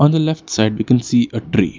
On the left side we can see a tree.